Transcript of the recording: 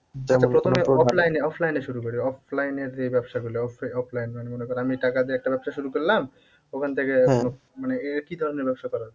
আচ্ছা প্রথমে offline এ offline এ শুরু করি offline এ যে ব্যবসা গুলো offli~offline মানে মনে করো আমি টাকা দিয়ে একটা ব্যবসা শুরু করলাম, ওখান থেকে মানে এ কি ধরণের ব্যবসা করা যায়?